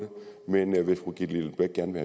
det men hvis fru gitte lillelund bech gerne